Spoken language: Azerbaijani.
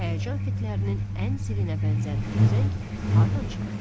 Həyəcan fitlərinin ən zilinə bənzər bu zəng hardan çıxırdı?